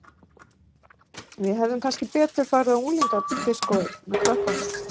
Við hefðum kannski betur farið á unglingadiskóið með krökkunum